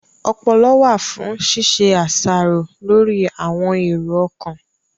Ọpọlọ wà fún ṣíṣe àṣàrò lórí àwọn èrò ọkàn